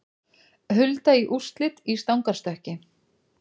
Hulda í úrslit í stangarstökki